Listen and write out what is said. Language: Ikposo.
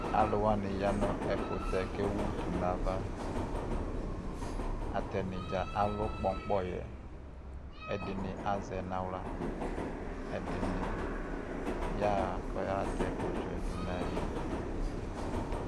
Aluwani yanʋ ɛkutɛ kewutu navaAtani dza alʋ kpɔnkpɔyɛƐdini azɛ naɣlaƐdini yaɣa kɔmatɛ udzɔ du ayini